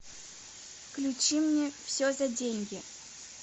включи мне все за деньги